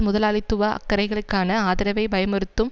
முதலாளித்துவ அக்கறைகளுக்கான ஆதரவை பயமுறுத்தும்